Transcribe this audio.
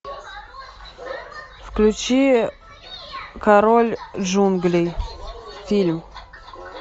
включи король джунглей фильм